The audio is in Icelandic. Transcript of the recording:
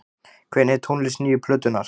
Hvernig er tónlist nýju plötunnar?